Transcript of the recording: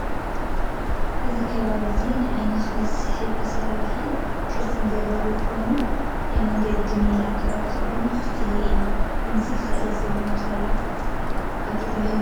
እዚ ከባቢ እዚ ንዓይንካ ዝስሕቡ ኣሰራርሓን ኣቀራርፃን ዘለዎም ኮይኖም ናይቲ መንገዲ ሜላ ኣቀራርፃ ድማ ዝተፈለየ እዩ። ከምዙይ ክለት ዘለዎም ሰብ ሞያታት ኣብ ትግራይ ይህልው ዶ?